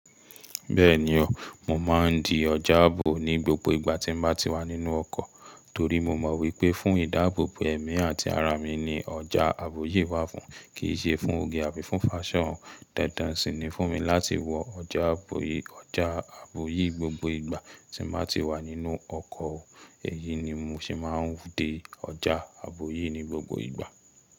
Bẹ́ẹ̀ni o, mo máa ń di ọjà àbò ní gbogbo ìgbà tí mo bá ti wà nínú ọkọ̀ torí mo mọ̀ wípé fún ìdáàbòbò ẹ̀mí àti ara mi ni ọjà àbò yìí wà fún, kì í ṣe fún oge àfi fún fashion. Dandan sì ni fún mi láti wọ ọjà àbò yìí gbogbo ìgbà tí màá ti wà nínú ọkọ̀. Èyí ni mo se máa ń de ọjà àbò yìí ní gbogbo ìgbà.